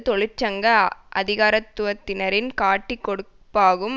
தொழிற்சங்க அதிகாரத்துவத்தினரின் காட்டிக் கொடுப்பாகும்